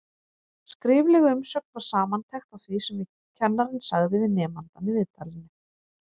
Skrifleg umsögn var samantekt á því sem kennarinn sagði við nemandann í viðtalinu.